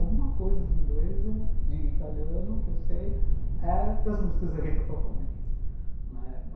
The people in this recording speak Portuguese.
Alguma coisa de inglês eh, de italiano, que eu sei, é das músicas da Rita Pavone.